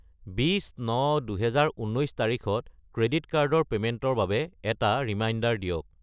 20-9-2019 তাৰিখত credit card ৰ পে'মেণ্টৰ বাবে এটা ৰিমাইণ্ডাৰ দিয়ক।